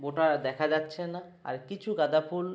ওটা দেখা যাচ্ছে না আর কিছু গাধা ফুল।